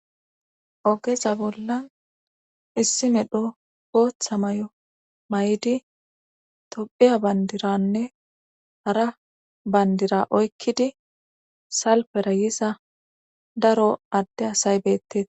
Ogeza bollan issi medho gooththa may'o mayidi tophiya bandiranne hara bandira oykkidi salpera yisa daro adde asay betes